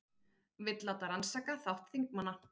Vill láta rannsaka þátt þingmanna